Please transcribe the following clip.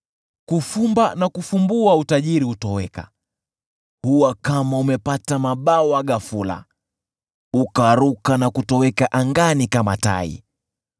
Kufumba na kufumbua utajiri hutoweka, huwa kama umepata mabawa ghafula, ukaruka na kutoweka angani kama tai.